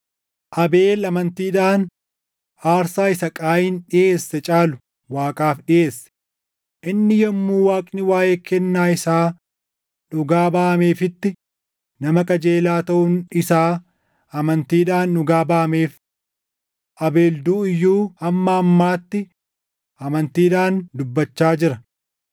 Abeel amantiidhaan aarsaa isa Qaayin dhiʼeesse caalu Waaqaaf dhiʼeesse. Inni yommuu Waaqni waaʼee kennaa isaa dhugaa baʼameefitti nama qajeelaa taʼuun isaa amantiidhaan dhugaa baʼameef. Abeel duʼu iyyuu hamma ammaatti amantiidhaan dubbachaa jira.